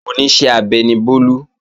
Oníṣẹ́ abẹ ni Bólú